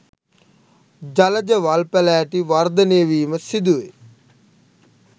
ජලජ වල් පැලෑටි වර්ධනය වීම සිදුවේ